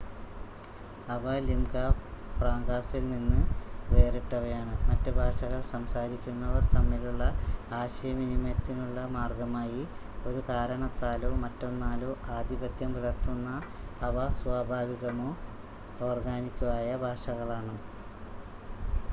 അവ ലിംഗാ ഫ്രാങ്കാസിൽ നിന്ന് വേറിട്ടവയാണ് മറ്റ് ഭാഷകൾ സംസാരിക്കുന്നവർ തമ്മിലുള്ള ആശയവിനിമയത്തിനുള്ള മാർഗമായി ഒരു കാരണത്താലോ മറ്റൊന്നാലോ ആധിപത്യം പുലർത്തുന്ന അവ സ്വാഭാവികമോ ഓർഗാനിക്കോ ആയ ഭാഷകളാണ്